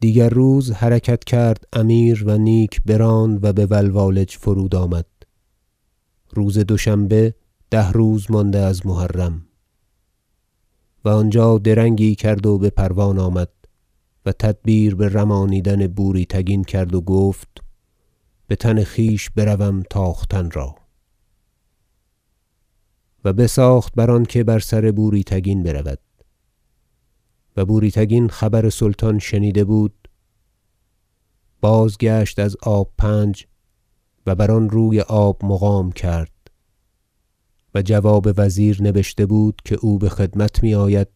دیگر روز حرکت کرد امیر و نیک براند و بولوالج فرود آمد روز دوشنبه ده روز مانده از محرم و آنجا درنگی کرد و بپروان آمد و تدبیر برمانیدن بوری تگین کرد و گفت بتن خویش بروم تاختن را و بساخت بر آنکه بر سر بوری تگین برود و بوری تگین خبر سلطان شنیده بود بازگشت از آب پنج و بر آن روی آب مقام کرد و جواب وزیر نبشته بود که او بخدمت میآید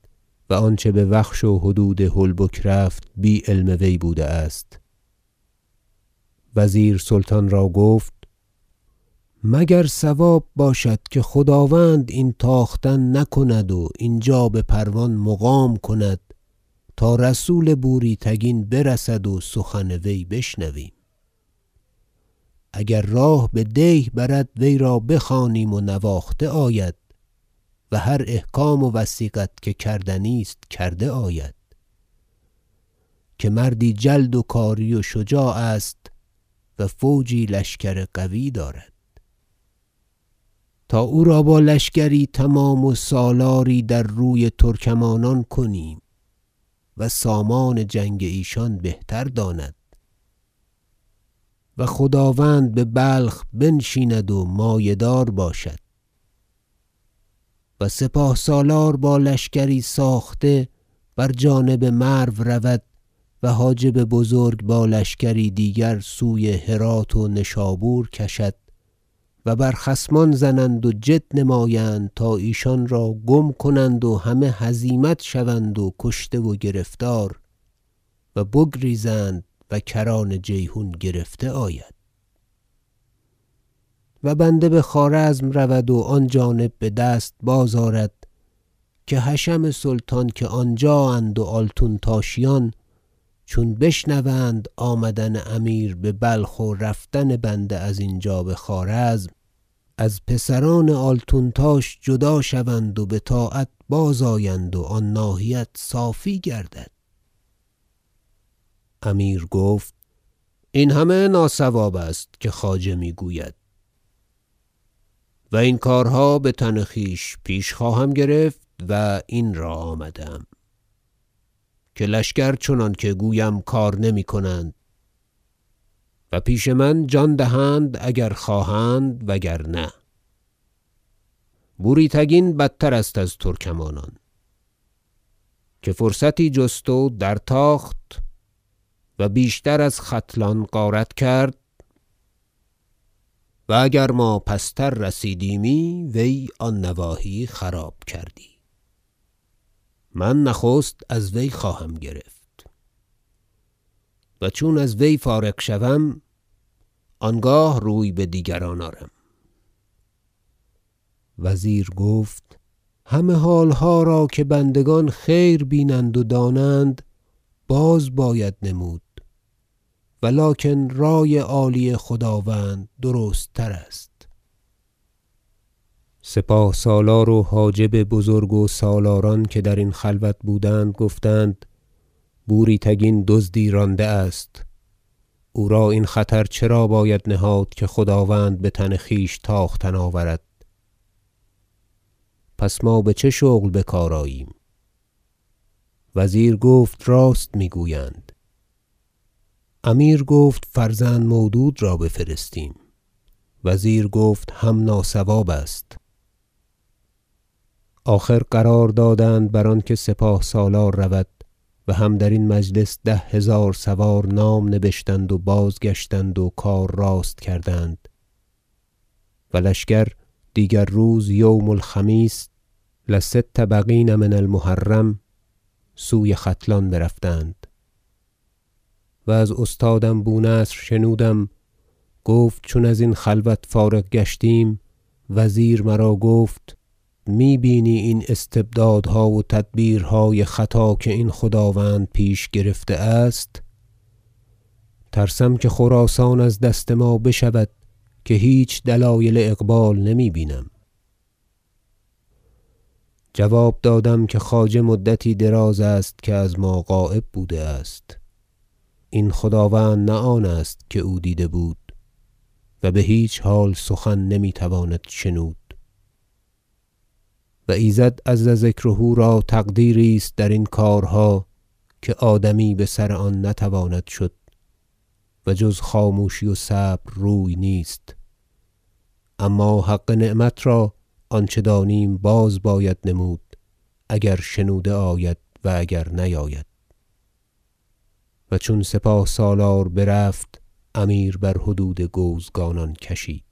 و آنچه بوخش و حدود هلبک رفت بی علم وی بوده است وزیر سلطان را گفت مگر صواب باشد که خداوند این تاختن نکند و اینجا به پروان مقام کند تا رسول بوری تگین برسد و سخن وی بشنویم اگر راه بدیه برد وی را بخوانیم و نواخته آید و هر احکام و وثیقت که کردنی است کرده آید که مردی جلد و کاری و شجاع است و فوجی لشکر قوی دارد تا او را با لشکری تمام و سالاری در روی ترکمانان کنیم و سامان جنگ ایشان بهتر داند و خداوند ببلخ بنشیند و مایه دار باشد و سپاه سالار با لشکری ساخته بر جانب مرو رود و حاجب بزرگ با لشکری دیگر سوی هرات و نشابور کشد و بر خصمان زنند و جد نمایند تا ایشان را گم کنند و همه هزیمت شوند و کشته و گرفتار و بگریزند و کران جیحون گرفته آید و بنده بخوارزم رود و آن جانب بدست باز آرد که حشم سلطان که آنجااند و آلتونتاشیان چون بشنوند آمدن امیر ببلخ و رفتن بنده از اینجا بخوارزم از پسران آلتونتاش جدا شوند و بطاعت باز آیند و آن ناحیت صافی گردد امیر گفت این همه ناصواب است که خواجه میگوید و این کارها بتن خویش پیش خواهم گرفت و این را آمده ام که لشکر چنانکه گویم کار نمیکنند و پیش من جان دهند اگر خواهند وگرنه بوری تگین بدتر است از ترکمانان که فرصتی جست و در تاخت و بیشتر از ختلان غارت کرد و اگر ما پستر رسیدیمی وی آن نواحی خراب کردی من نخست از وی خواهم گرفت و چون از وی فارغ شوم آنگاه روی بدیگران آرم وزیر گفت همه حالها را که بندگان خیر بینند و دانند باز باید نمود و لکن رای عالی خداوند درست تر است سپاه سالار و حاجب بزرگ و سالاران که درین خلوت بودند گفتند بوری تگین دزدی رانده است او را این خطر چرا باید نهاد که خداوند بتن خویش تاختن آورد پس ما بچه شغل بکار آییم وزیر گفت راست میگویند امیر گفت فرزند مودود را بفرستیم وزیر گفت هم ناصواب است آخر قرار دادند بر آنکه سپاه سالار رود و هم درین مجلس ده هزار سوار نام نبشتند و بازگشتند و کار راست کردند و لشکر دیگر روز یوم الخمیس لست بقین من- المحرم سوی ختلان رفتند و از استادم بو نصر شنودم گفت چون ازین خلوت فارغ گشتیم وزیر مرا گفت می بینی این استبدادها و تدبیرهای خطا که این خداوند پیش گرفته است ترسم که خراسان از دست ما بشود که هیچ دلایل اقبال نمی بینم جواب دادم که خواجه مدتی دراز است که از ما غایب بوده است این خداوند نه آن است که او دیده بود و بهیچ حال سخن نمیتواند شنود و ایزد عز ذکره را تقدیریست درین کارها که آدمی بسر آن نتواند شد و جز خاموشی و صبر روی نیست اما حق نعمت را آنچه دانیم باز باید نمود اگر شنوده آید و اگر نیاید و چون سپاه سالار برفت امیر بر حدود گوزگانان کشید